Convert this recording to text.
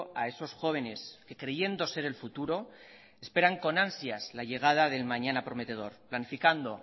a esos jóvenes que creyendo ser el futuro esperan con ansias la llegada del mañana prometedor planificando